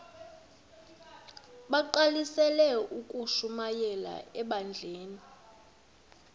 bagqalisele ukushumayela ebandleni